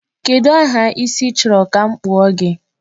Kedụ aha isi ị chọrọ ka m kpụọ gị?